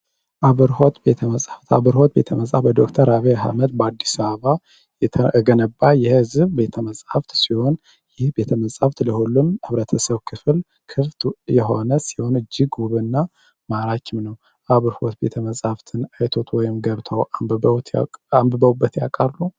አብርሆት ቤተ መጽሐፍት አብርሆት ቤተ መጽሐፍት በዶክተር አብይ በአዲስ አበባየህዝብ ቤተ መጽሐፍ ሲሆን ይህ ቤተ መጽሃፍ ለሁሉም የህብረተሰብ ክፍል ክፍት የሆነ ሲሆን እጅግ ሳቢ እና ዉብ ነው፤ አብርሆት ቤተ መጽሐፍ ውስጥ ገብተው አንብበው ያውቃሉ?